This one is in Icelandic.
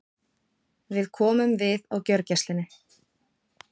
Við komum við á gjörgæslunni.